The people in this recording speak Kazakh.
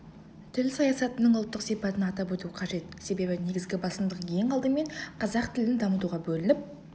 тіл саясатының ұлттық сипатын атап өту қажет себебі негізгі басымдық ең алдымен қазақ тілін дамытуға бөлініп